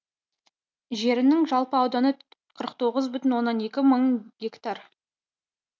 жерінің жалпы ауданы қырық тоғыз бүтін оннан екі мың гектар